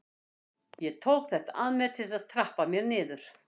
Ég tók þetta að mér til að trappa mér niður.